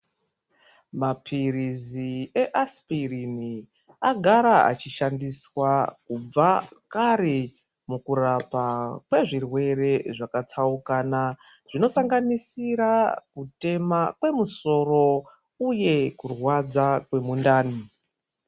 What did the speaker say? Mapirizi easipirini agara achishandiswa kubva kare mukurapa kwezvirwere zvakatsaukana zvinosanganisira kutema kwemusoro uye kurwadza kwemundani.